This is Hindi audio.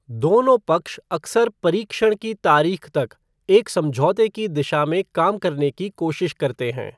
दोनों पक्ष अक्सर परीक्षण की तारीख तक एक समझौते की दिशा में काम करने की कोशिश करते हैं।